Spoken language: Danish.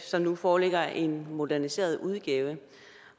som nu foreligger i en moderniseret udgave